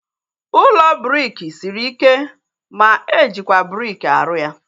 Ụlọ briki sịrị ike ma ejikwa briki aru ya